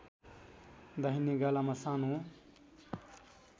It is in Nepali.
दाहिने गालामा सानो